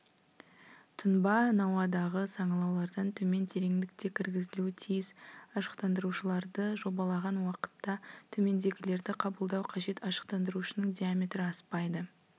тұнба науадағы саңылаулардан төмен тереңдікте кіргізілуі тиіс ашықтандырушыларды жобалаған уақытта төмендегілерді қабылдау қажет ашықтандырушының диаметрі аспайды